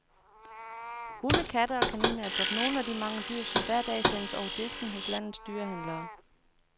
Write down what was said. Hunde, katte og kaniner er blot nogle af de mange dyr, som hver dag sendes over disken hos landets dyrehandlere.